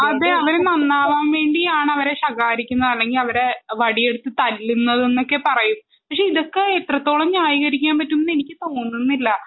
അതെ അവര് നന്നാവാൻ വേണ്ടിയാണ് അവരെ ശകാരിക്കുന്നത് അല്ലെങ്കിൽ അവരെ വടിയെടുത്തു തല്ലുന്നത് എന്നൊക്കെ പറയുന്നത് പക്ഷെ ഇതൊക്കെ എത്രത്തോളം ന്യായീകരിക്കാൻ പറ്റും എന്ന് എനിക്ക് തോന്നുന്നില്ല